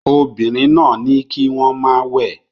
Obìnrin náà ní kí wọ́n má wẹ̀